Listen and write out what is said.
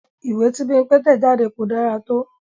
Ìwé tí Bímpé tẹ̀ jáde kò dára tó